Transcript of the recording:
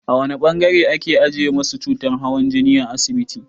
A wane ɓangare ake ajiye masu cutar hawan jini a asibiti?